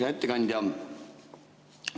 Hea ettekandja!